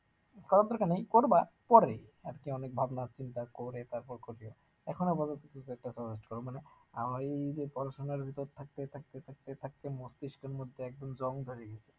করার দরকার নেই করবা, পরে আরকি অনেক ভাবনা চিন্তা করে তারপর করবে, এখন আপাতত যে কয়েকটা search করো মানে আহ ঐযে পড়াশুনার ভেতর থাকতে থাকতে থাকতে থাকতে মস্তিষ্কের মধ্যে একদম জং ধরে গিছে